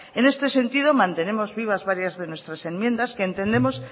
en este sentido mantenemos vivas varias de nuestras enmiendas que entendemos